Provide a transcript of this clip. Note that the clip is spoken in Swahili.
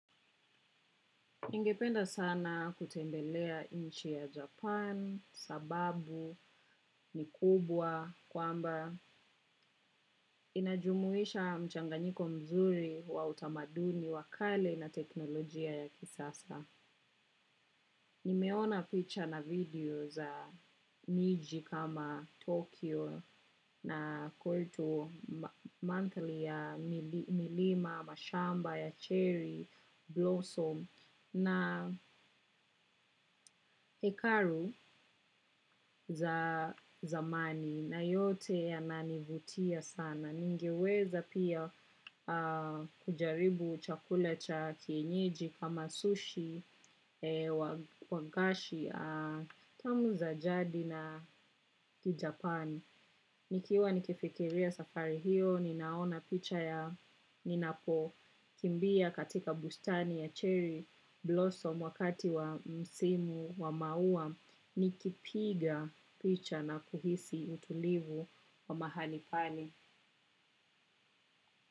Ningependa sana kutembelea nchi ya Japan sababu ni kubwa kwamba inajumuisha mchanganyiko mzuri wa utamaduni wa kale na teknolojia ya kisasa. Nimeona picha na video za miji kama Tokyo na kultu manthar ya milima, mashamba ya cherry, blossom na hekaru za zamani na yote yananivutia sana. Ningiweza pia kujaribu chakula cha kienyeji kama sushi wa gashi tamu za jadi na kijapani. Nikiwa nikifikiria safari hiyo, ninaona picha ya ninapo. Kimbia katika bustani ya cherry blossom wakati wa msimu wa maua, nikipiga picha na kuhisi utulivu wa mahali pale.